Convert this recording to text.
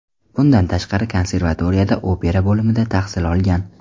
Bundan tashqari, konservatoriyada opera bo‘limida tahsil olgan.